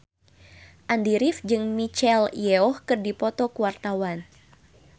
Andy rif jeung Michelle Yeoh keur dipoto ku wartawan